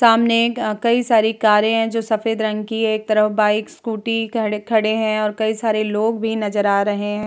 सामने अ कई सारी कारें हैं जो सफेद रंग की है। एक तरफ़ बाइक स्कूटी खड़े खड़े हैं और कई सारे लोग भी नज़र आ रहें हैं।